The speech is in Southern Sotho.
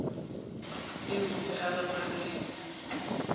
eo o se a rapaletse